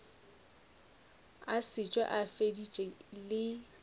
a šetše a feditše le